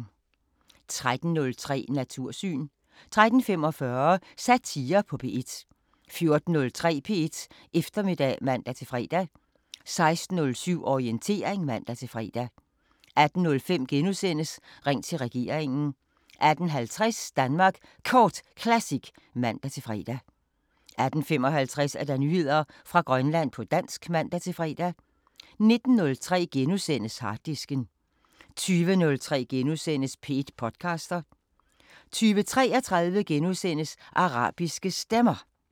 13:03: Natursyn 13:45: Satire på P1 14:03: P1 Eftermiddag (man-fre) 16:07: Orientering (man-fre) 18:05: Ring til regeringen * 18:50: Danmark Kort Classic (man-fre) 18:55: Nyheder fra Grønland på dansk (man-fre) 19:03: Harddisken * 20:03: P1 podcaster * 20:33: Arabiske Stemmer *